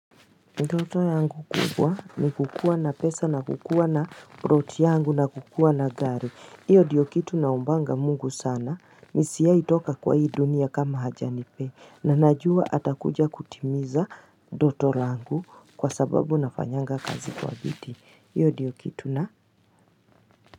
Ndoto yangu kubwa ni kukuwa na pesa na kukuwa na ploti yangu na kukuwa na gari. Hiyo ndiyo kitu naombanga mungu sana. Nisiwai toka kwa hii dunia kama hajanipe. Na najua atakuja kutimiza, ndoto langu kwa sababu nafanyanga kazi kwa bidii. Hiyo ndiyo kitu na.